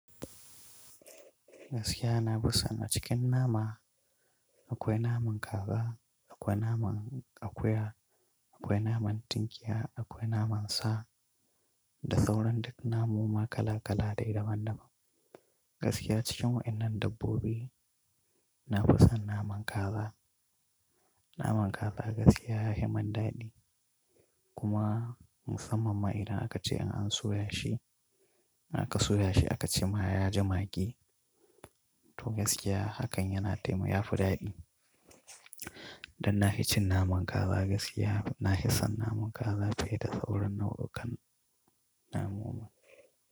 Gaskiya na fi son a cikin nama, akwai naman Kaza, akwai naman Akuya akwai naman Tunkiya, akwai naman Sa da sauran duk namoma kala-kala dai daban-daban. Gaskiya cikin wa'innan dabbobi. Na fi son naman kaza. Naman kaza gaskiya ya himan daɗi kuma musamman ma idan aka ce in an soya shi, in aka soya shi aka cema yaji magi to gaskiya hakan yana taima ya fi daɗi. Dan na f cin i cin naman kaza gask na ki son naman kaza fiye da sauran nau'ukan namoma.